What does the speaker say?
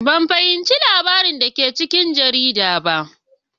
Ban fahimci labaran da ke cikin jarida ba.